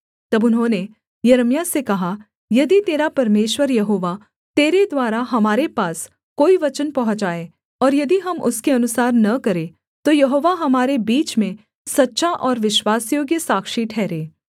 तब उन्होंने यिर्मयाह से कहा यदि तेरा परमेश्वर यहोवा तेरे द्वारा हमारे पास कोई वचन पहुँचाए और यदि हम उसके अनुसार न करें तो यहोवा हमारे बीच में सच्चा और विश्वासयोग्य साक्षी ठहरे